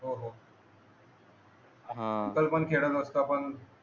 ह खेळ नव्हतो पण